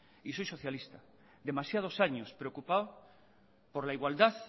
y soy socialista demasiados años preocupado por la igualdad